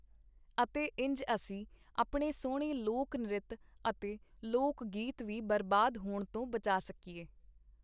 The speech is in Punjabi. ਅਤੇ ਇੰਜ ਅਸੀਂ ਆਪਣੇ ਸੁਹਣੇ ਲੋਕ-ਨ੍ਰਿਤ ਅਤੇ ਲੋਕ-ਗੀਤ ਵੀ ਬਰਬਾਦ ਹੋਣ ਤੋਂ ਬਚਾ ਸਕੀਏ.